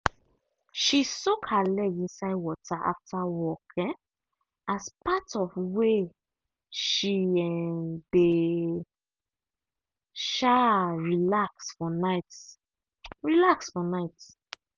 she soak her leg inside water after work um as part of way she um dey um relax for night relax for night